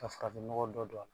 Ka farafinnɔgɔ dɔ don a la